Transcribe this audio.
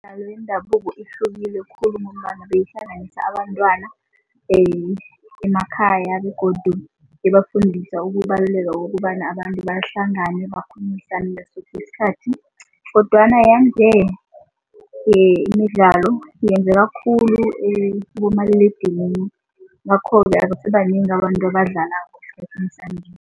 Imidlalo yendabuko ihlukile khulu ngomana beyihlanganisa abantwana emakhaya begodu ibafundisa ukubaluleka bokobana abantu bahlangane bakhulumisane isikhathi kodwana yanje imidlalo yenzeka khulu kumaliledinini ngakho-ke abasibanengi abantu abadlala esikhathini sanje.